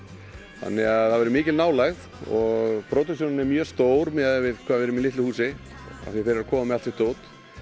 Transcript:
þannig að það verður mikil nálægð og pródúksjónin er mjög stór miðað við hvað við erum í litlu húsi því þeir eru að koma með allt sitt dót